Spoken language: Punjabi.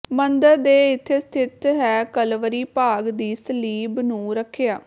ਮੰਦਰ ਦੇ ਇੱਥੇ ਸਥਿਤ ਹੈ ਕਲਵਰੀ ਭਾਗ ਦੀ ਸਲੀਬ ਨੂੰ ਰੱਖਿਆ